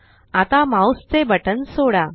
आता माउस चे बटन सोडा